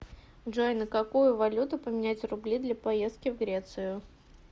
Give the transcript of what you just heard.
джой на какую валюту поменять рубли для поездки в грецию